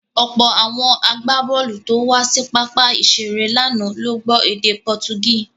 Ọ̀pọ̀ àwọn agbábọ̀ọ̀lù tó wá sí pápá ìṣeré lánàá ló gbọ́ èdè Pọtugí.